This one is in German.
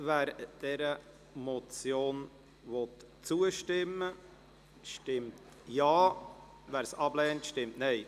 Wer dieser Motion zustimmen will, stimmt Ja, wer diese ablehnt, stimmt Nein.